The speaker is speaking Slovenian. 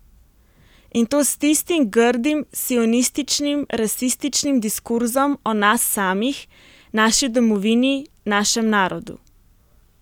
In to s tistim grdim sionističnim rasističnim diskurzom o nas samih, naši domovini, našem narodu.